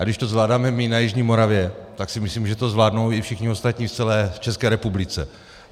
A když to zvládáme my na jižní Moravě, tak si myslím, že to zvládnou i všichni ostatní v celé České republice.